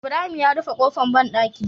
Ibrahim ya rufe kofar banɗaki